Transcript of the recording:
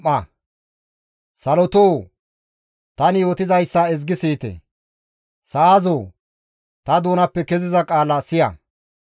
Salotoo! Tani yootizayssa ezgi siyite; Sa7azoo ta doonappe keziza qaala siya.